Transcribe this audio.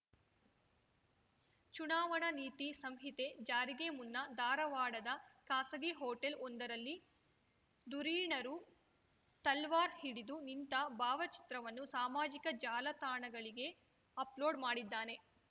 ಚುನಾವಣಾ ನೀತಿ ಸಂಹಿತೆ ಜಾರಿಗೆ ಮುನ್ನ ಧಾರವಾಡದ ಖಾಸಗಿ ಹೋಟೆಲ್ ಒಂದರಲ್ಲಿ ಧುರೀಣರು ತಲ್ವಾರ್ ಹಿಡಿದು ನಿಂತ ಭಾವಚಿತ್ರವನ್ನು ಸಾಮಾಜಿಕ ಜಾಲತಾಣಗಳಿಗೆ ಅಪ್‌ಲೋಡ್ ಮಾಡಿದ್ದಾನೆ